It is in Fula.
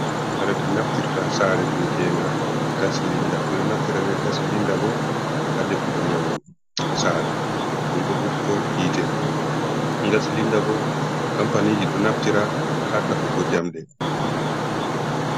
Kare ɗe naftirta hasare be e tenga gas silinda, ɓeɗo naftira be gas silinda bo ha defugo nyamdu hasare. ɗum ɗo hokko hiite, gas silinda bo kampaniji ɗo naftira ha takkugo jamɗe.